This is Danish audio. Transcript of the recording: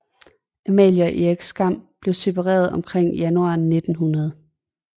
Amalie og Erik Skram blev separeret omkring januar 1900